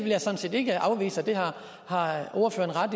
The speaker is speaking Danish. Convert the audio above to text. jeg sådan set ikke afvise det har ordføreren